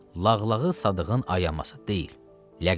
Lağlağı Sadığın ayaması deyil, ləqəbidir.